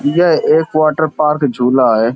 यह एक वाटरपार्क झूला है ।